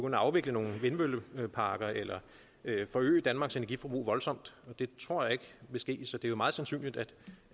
at afvikle nogle vindmølleparker eller forøge danmarks energiforbrug voldsomt og det tror jeg ikke vil ske så det er jo meget sandsynligt